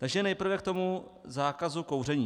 Takže nejprve k tomu zákazu kouření.